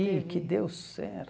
teve... Ih, que deu certo!